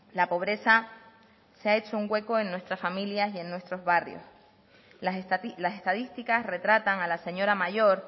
la pobreza se ha hecho un hueco en nuestras familias y en nuestros barrios las estadísticas retratan a la señora mayor